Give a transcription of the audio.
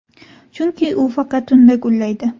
Chunki u faqat tunda gullaydi.